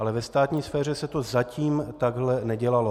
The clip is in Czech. Ale ve státní sféře se to zatím takhle nedělalo.